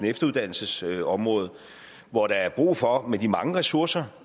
efteruddannelsesområdet hvor der er brug for med de mange ressourcer